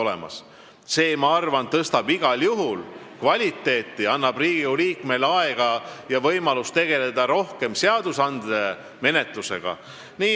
Ma arvan, et see tõstaks igal juhul nende töö kvaliteeti, annaks Riigikogu liikmele aega ja võimalust tegeleda rohkem seaduseelnõude menetlusega.